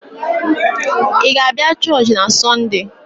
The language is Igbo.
Ị ga-abịa Church na Sunday?